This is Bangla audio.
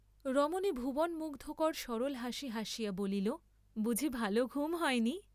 রমণী ভুবনমুগ্ধকর সরল হাসি হাসিয়া বলিল বুঝি ভাল ঘুম হয়নি?